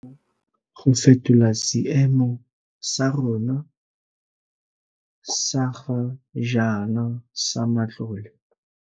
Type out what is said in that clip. Tla re direng mmogo go fetola seemo sa rona sa ga jaana sa matlole.